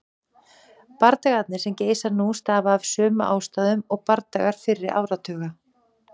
Bardagarnir sem geisa nú stafa af sömu ástæðum og bardagar fyrri áratuga.